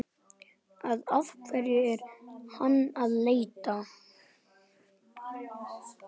Að hverju er hann að leita?